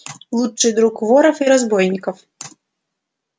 лучший друг воров и разбойников